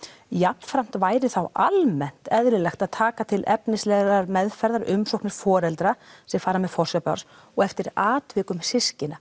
jafnframt væri þá almennt eðlilegt að taka til efnislegrar meðferðar umsóknir foreldra sem fara með forsjá barns og eftir atvikum systkina